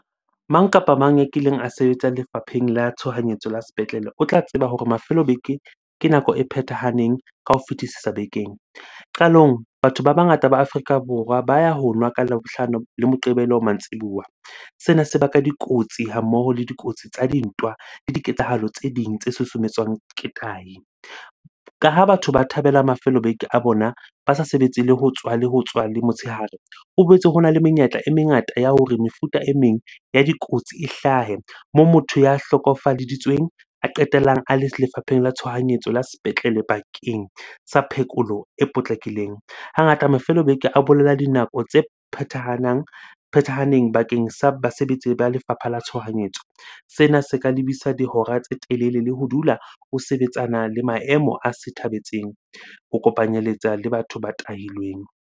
Mang kapa mang a kileng a sebetsa lefapheng la tshohanyetso la sepetlele o tla tseba hore mafelo a beke ke nako e phethahaneng ka ho fetisisa bekeng. Qalong, batho ba bangata ba Afrika Borwa ba ya ho nwa ka Labohlano le Moqebelo mantsibuya. Sena se baka dikotsi ha mmoho le dikotsi tsa dintwa le diketsahalo tse ding tse susumetswang ke tahi. Ka ha batho ba thabela mafelo a beke a bona, ba sa sebetse le ho tswa le motshehare. Ho boetse hona le menyetla e mengata ya hore mefuta e meng ya dikotsi e hlahe. Moo motho ya hlokofaleditsweng a qetellang a le lefapheng la tshohanyetso la sepetlele bakeng sa phekolo e potlakileng. Hangata mafelo a beke a bolela dinako tse phathahanang, phethahaneng bakeng sa basebetsi ba lefapha la tshohanyetso. Sena se ka lebisa dihora tse telele le ho dula o sebetsana le maemo a se thabetseng, ho kopanyeletsa le batho ba tahilweng.